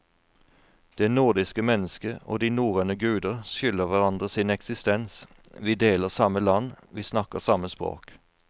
Det nordiske mennesket og de norrøne guder skylder hverandre sin eksistens, vi deler samme land, vi snakker samme språk.